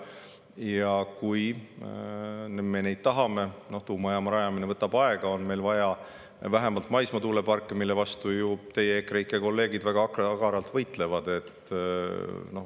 Ja kui me neid tahame – tuumajaama rajamine võtab aega –, on meil vaja vähemalt maismaa tuuleparke, mille vastu teie EKREIKE kolleegid väga agaralt võitlevad.